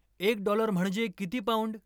एक डॉलर म्हणजे किती पौंड